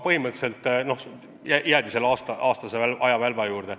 Praegu jäädi põhimõtteliselt aastase ajavälba juurde.